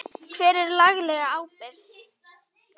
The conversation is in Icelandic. Hver er lagaleg ábyrgð?